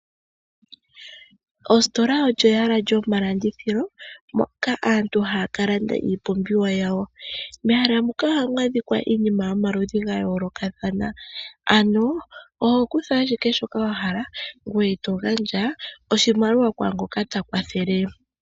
Ositola olyo ehala lyomalandithilo moka aantu haya ka landa iipumbiwa yawo. Mehala muka ohamu adhika iinima yomaludhi ga yoolokathana, ano oho kutha ashike shoka wa hala ngoye to gandja oshimaliwa kwaa ngoka ta kwathele.